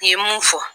N ye mun fɔ